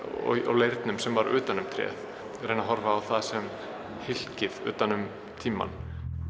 og leirnum sem var utan um tréð reyni að horfa á það sem hylki utan um tímann